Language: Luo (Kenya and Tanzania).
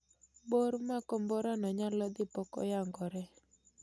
Bor mar komborano nyalo dhii pok oyangore